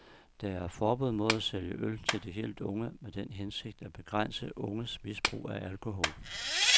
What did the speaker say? Der er forbud mod at sælge øl til de helt unge med den hensigt at begrænse unges misbrug af alkohol.